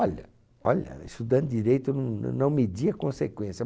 Olha, olha, estudando direito eu não eu não media consequência.